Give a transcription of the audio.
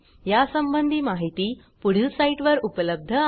यासंबंधी माहिती पुढील साईटवर उपलब्ध आहे